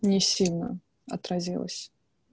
не сильно отразилось